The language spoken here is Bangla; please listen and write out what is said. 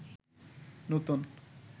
নতুন